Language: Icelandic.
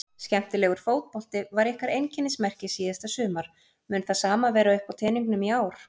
Skemmtilegur fótbolti var ykkar einkennismerki síðasta sumar mun það sama vera uppá teningnum í ár?